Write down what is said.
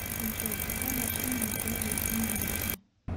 джой какая машина у беллы ильиничны